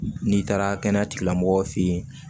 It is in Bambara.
N'i taara kɛnɛya tigilamɔgɔw fɛ yen